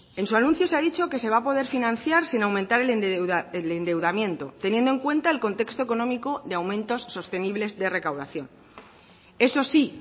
en su anuncio se ha dicho que se va a poder financiar sin aumentar el endeudamiento teniendo en cuenta el contexto económico de aumentos sostenibles de recaudación eso sí